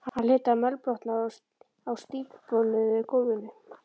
Hann hlyti að mölbrotna á stífbónuðu gólfinu.